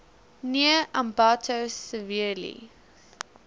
near ambato severely